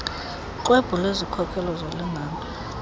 xwebhu lwezikhokelo zolingano